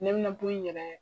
Ne bɛna kɔ in yɛrɛ